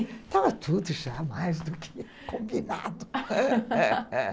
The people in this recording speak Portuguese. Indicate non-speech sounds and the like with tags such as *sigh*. Estava tudo já mais do que combinado *laughs*